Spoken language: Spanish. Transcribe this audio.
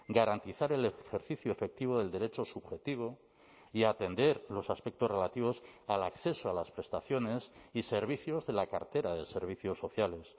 garantizar el ejercicio efectivo del derecho subjetivo y atender los aspectos relativos al acceso a las prestaciones y servicios de la cartera de servicios sociales